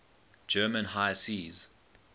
german high seas